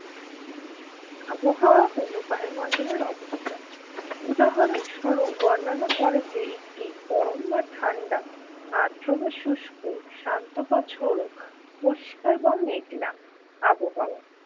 আবহাওয়া হল বায়ুমণ্ডলের অবস্থান উদাহরণস্বরূপ বর্ণনা করে যে একটি গরম বা ঠান্ডা আদ্র বা শুস্ক শান্ত বা ঝোড়ো পরিষ্কার বা মেঘলা আবহাওয়া